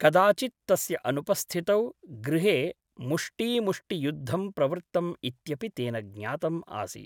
कदाचित् तस्य अनुपस्थितौ गृहे मुष्टीमुष्टि युद्धं प्रवृत्तम् इत्यपि तेन ज्ञातम् आसीत् ।